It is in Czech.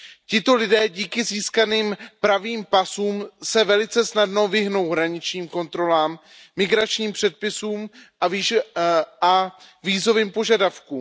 Tito lidé díky získaným pravým pasům se velice snadno vyhnou hraničním kontrolám, migračním předpisům a vízovým požadavkům.